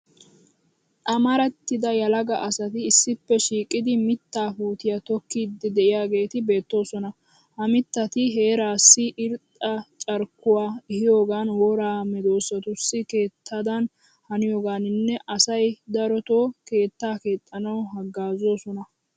Amarattida yelaga asati issippe shiiqidi mittaa puutiya tokkiiddi de'iyageeti beettoosona. Ha mittati heeraassi irxxa carkkuwa ehiyogan woraa medoosatussi keettadan haniyogaaninne asay darotoo keettaa keexxanawu haggaazzoosona.